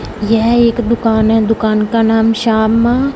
यह एक दुकान है दुकान का नाम श्याम--